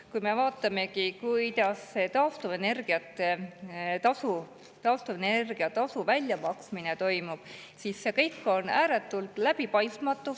Kui me vaatame, kuidas taastuvenergia väljamaksmine toimub, siis see kõik on ääretult läbipaistmatu.